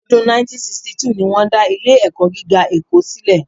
Ọdún 1962 ni wọ́n dá Ilé-ẹ̀kọ́ gíga Èkó sílẹ̀